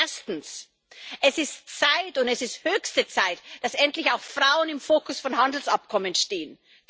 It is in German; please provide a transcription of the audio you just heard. Erstens Es ist Zeit, und es ist höchste Zeit, dass endlich auch Frauen im Fokus von Handelsabkommen stehen.